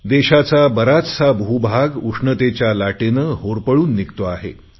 देशाचा बराचसा भूभाग उष्णतेच्या लाटेने होरपळून निघतो आहे